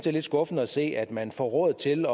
er lidt skuffende at se at man får råd til